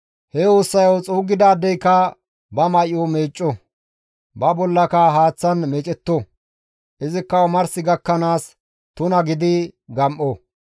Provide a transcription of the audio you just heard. He ussayo xuuggidaadeyka ba may7o meecco; ba bollaka haaththan meecetto; izikka omars gakkanaas tuna gidi gam7o.